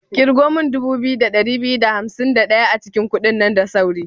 Ƙirgo min dubu biyu da ɗari biyu da hansim da ɗaya a cikin kudin nan da sauri.